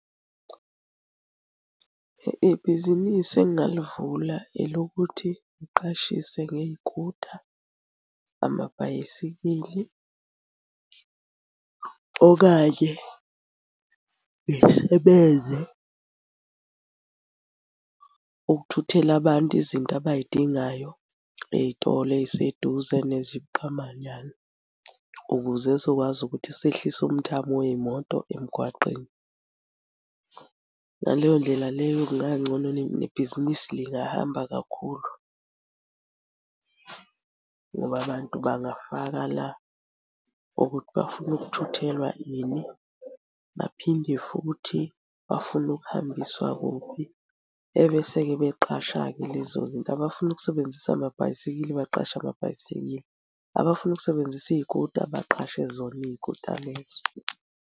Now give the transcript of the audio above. Ibhizinisi engingalivula elokuthi ngiqashise ngey'kuta, amabhayisikili, okanye ngisebenze ukuthuthela abantu izinto abay'dingayo ey'tolo ey'seduze nezibuqamanyana, ukuze ezokwazi ukuthi sehlise umthamo wey'moto emgwaqeni. Ngaleyo ndlela leyo kungangcono nebhizinisi lingahamba kakhulu ngoba abantu bangafaka la ukuthi bafuna ukuthuthelwa ini. Baphinde futhi bafuna ukuhambiswa kuphi, ebese-ke beqasha-ke lezo zinto. Abafuna ukusebenzisa amabhayisikili baqashe amabhayisikili, abafuna ukusebenzisa iy'kuta baqashe zona iy'kuta lezo.